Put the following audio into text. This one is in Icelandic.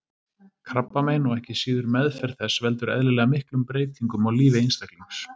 Krabbamein og ekki síður meðferð þess veldur eðlilega miklum breytingum á lífi einstaklings.